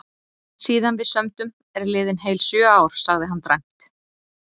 Síðan við sömdum eru liðin heil sjö ár, sagði hann dræmt.